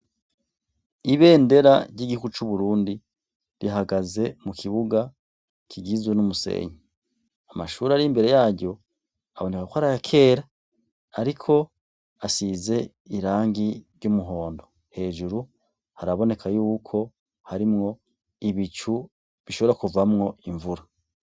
Ibendera ry'igihugu c'Uburundi ,rihagaze mukibuga kigizwe n'umusenyi. Amashure ar'imbere yaryo abonekako arayakera ariko asize irangi ry'umuhondo, hejuru haraboneka yuko harimwo ibicu bishobora kuvamwo imvura.